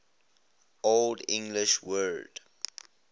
old english word